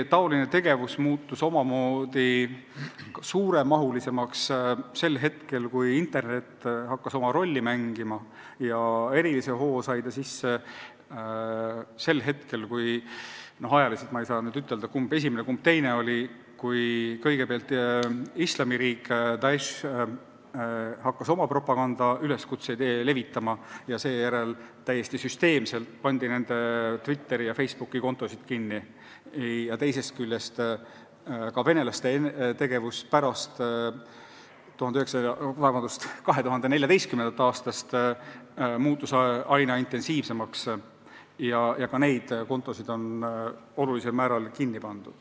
Niisugune tegevus on laienenud pärast seda, kui internet hakkas oma rolli mängima, ja erilise hoo sai see sisse – ma ei tea praegu ütelda, kumb oli esimene, kumb teine –, kui Islamiriik ehk Daesh hakkas oma propagandaüleskutseid levitama ja täiesti süsteemselt pandi nende Twitteri ja Facebooki kontosid kinni, ja teisest küljest ka venelaste tegevus muutus pärast 2014. aastat aina intensiivsemaks ja ka neid kontosid pandi olulisel määral kinni.